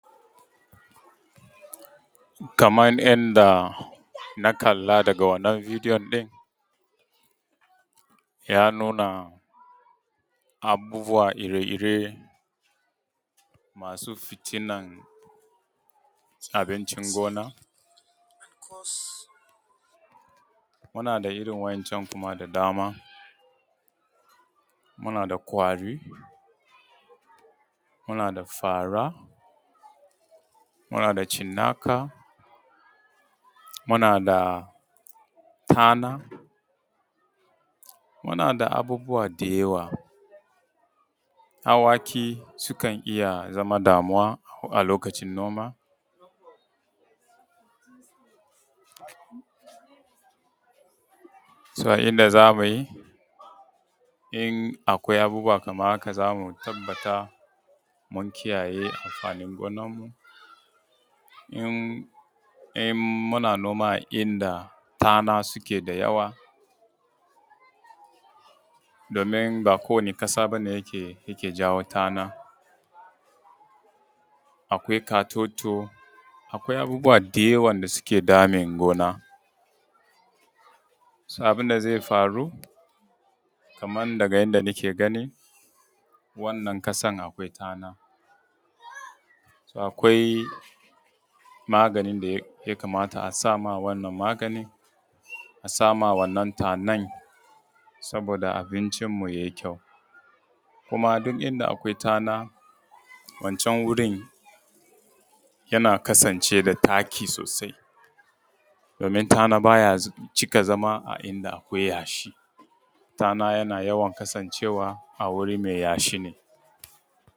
Kaman yanda na kalla daga wannan bidiyo ɗin, ya nuna abubuwa ire ire masu fitinan abincin gona. Muna da irin wa'incan da dama, muna da ƙwari, muna da fara, muna da cinnaka, muna da tana, muna da abubuwa da yawa. Awaki su kan iya zama damuwan a lokaci noma. A inda za mu yi in akwai abubuwa kaman haka za mu tabbata mun kiyaye amfani gonan mu. In muna noma a inda tana suka yi yawa, domin ba ko wacce ƙasa bane yake jawo tana, akwai ƙatoto, akwai abubuwa da yawa da suke damin gona. Abin da zai faru kaman daga yanda n ake gani wannan ƙasan akwai tana, akwai maganin da ya kamata a sama wannan tanan saboda abincin mu yayi kyau. Kuma duk inda akwai tana wancan wurin wannan wurin yana kasance wa da taki sosai domin tana ba ya cika zama a inda akwai yashi. Tana yana yawan kasan cewa a wuri mai yashi ne.